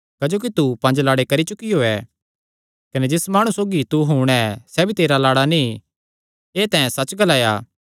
क्जोकि तू पंज लाड़े करी चुकियो ऐ कने जिस माणु सौगी तू हुण ऐ सैह़ भी तेरा लाड़ा नीं एह़ तैं सच्च ग्लाया